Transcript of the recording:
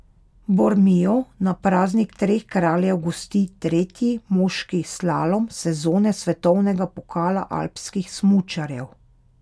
Bormio na praznik treh kraljev gosti tretji moški slalom sezone svetovnega pokala alpskih smučarjev.